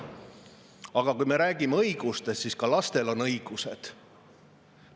Aga kui me räägime õigustest, siis ka lastel on õigused.